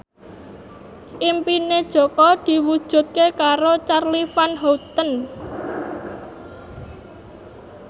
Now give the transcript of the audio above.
impine Jaka diwujudke karo Charly Van Houten